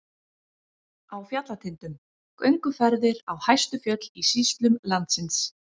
Á fjallatindum- gönguferðir á hæstu fjöll í sýslum landsins.